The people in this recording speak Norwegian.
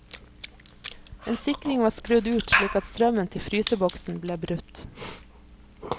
En sikring var skrudd ut slik at strømmen til fryseboksen ble brutt.